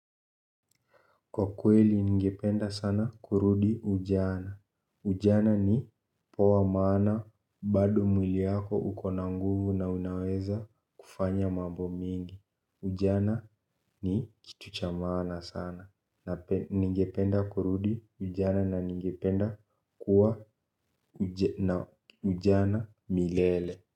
Kwa kweli ningependa sana kurudi ujana. Ujana ni poa maana bado mwili yako ukona nguvu na unaweza kufanya mambo mingi. Ujana ni kitu cha maaana sana ningependa kurudi ujana na ningependa kuwa na ujana milele.